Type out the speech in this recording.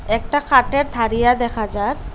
একটা খাটের থাড়িয়া দেখা যার।